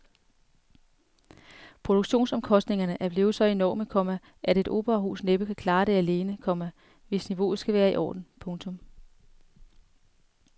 Produktionsomkostningerne er blevet så enorme, komma at et operahus næppe kan klare det alene, komma hvis niveauet skal være i orden. punktum